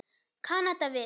Kanada við.